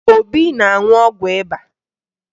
Obi na-aṅụ ọgwụ ịba